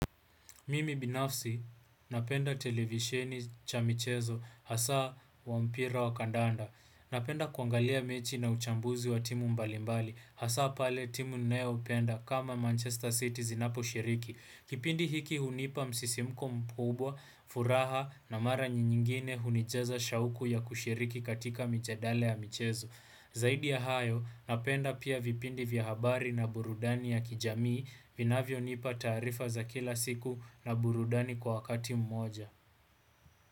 Mimi binafsi, napenda televisheni cha michezo, hasaa wa mpira wa kandanda. Napenda kwangalia mechi na uchambuzi wa timu mbalimbali, hasaa pale timu ninayopenda kama Manchester City zinapo shiriki. Kipindi hiki hunipa msisimko mkubwa, furaha na mara nyingine hunijaza shauku ya kushiriki katika mijadale ya michezo. Zaidi ya hayo, napenda pia vipindi vya habari na burudani ya kijamii vinavyo nipa taarifa za kila siku na burudani kwa wakati mmoja.